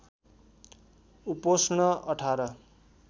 उपोष्ण १८